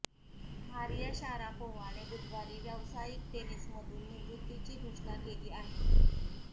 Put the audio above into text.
Maria शारापोव्हाने बुधवारी व्यावसायिक टेनिसमधून निवृत्तीची घोषणा केली आहे